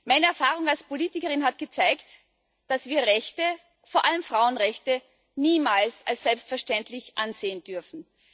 Meine Erfahrung als Politikerin hat gezeigt, dass wir Rechte vor allem Frauenrechte niemals als selbstverständlich ansehen dürfen.